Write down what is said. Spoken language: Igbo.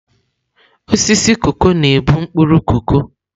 Osisi koko na-ebu mkpuru koko.